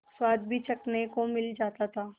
स्वाद भी चखने को मिल जाता था